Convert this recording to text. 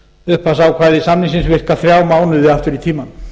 upphafsákvæði samningsins virka þrjá mánuði aftur í tímann